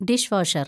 dish washer‍